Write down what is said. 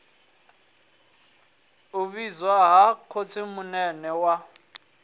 u vhidzwa ha khotsimunene wawe